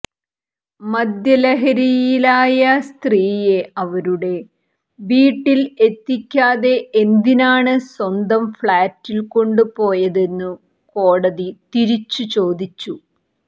മദ്യലഹരിയിലായ സ്ത്രീയെ അവരുടെ വീട്ടിൽ എത്തിക്കാതെ എന്തിനാണ് സ്വന്തം ഫ്ളാറ്റിൽ കൊണ്ടുപോയതെന്നു കൊടതി തിരിച്ചു ചോദിച്ചു